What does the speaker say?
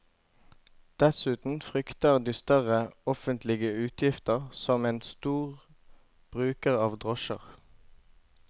Dessuten frykter de større offentlige utgifter som en stor bruker av drosjer.